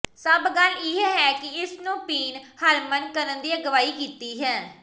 ਸਭ ਗੱਲ ਇਹ ਹੈ ਕਿ ਇਸ ਨੂੰ ਪੀਣ ਹਰਮਨ ਕਰਨ ਦੀ ਅਗਵਾਈ ਕੀਤੀ ਹੈ